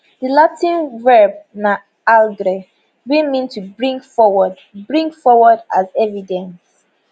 di latin verb naallgre wey mean to bring forward bring forward as evidence